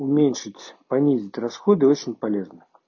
уменьшить понизить расходы очень полезно